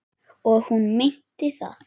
Og hún meinti það.